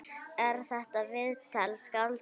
Er þetta viðtal skáldað?